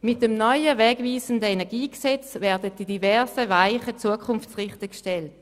Mit dem neuen, wegweisenden KEnG werden verschiedene Weichen zukunftsgerichtet gestellt.